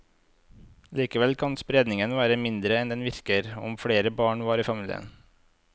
Likevel kan spredningen være mindre enn den virker, om flere barn var i familie.